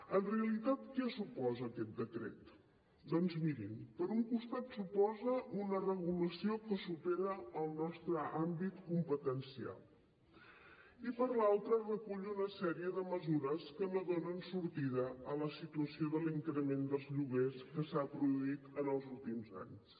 en realitat què suposa aquest decret doncs mirin per un costat suposa una regulació que supera el nostre àmbit competencial i per l’altre recull una sèrie de mesures que no donen sortida a la situació de l’increment dels lloguers que s’ha produït en els últims anys